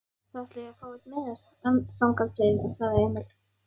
Þá ætla ég að fá einn miða þangað, sagði Emil.